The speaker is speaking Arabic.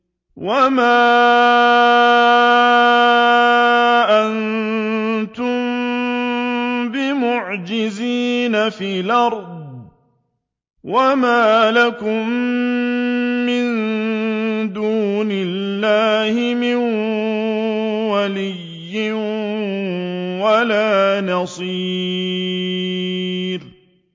وَمَا أَنتُم بِمُعْجِزِينَ فِي الْأَرْضِ ۖ وَمَا لَكُم مِّن دُونِ اللَّهِ مِن وَلِيٍّ وَلَا نَصِيرٍ